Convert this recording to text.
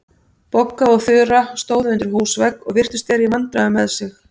Bogga og Þura stóðu undir húsvegg og virtust vera í vandræðum með sig.